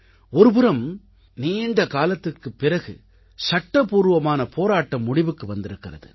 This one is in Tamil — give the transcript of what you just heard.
ஒருபுறம் நீண்ட காலத்திற்குப் பிறகு சட்டப்பூர்வமான போராட்டம் முடிவுக்கு வந்திருக்கிறது